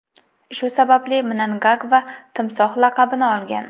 Shu sababli Mnangagva Timsoh laqabini olgan.